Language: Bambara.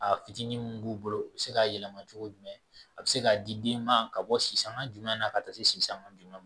A fitinin mun b'u bolo u bi se k'a yɛlɛma cogo jumɛn a be se ka di den ma ka bɔ sisanga jumɛn ka taa se sisan dun ma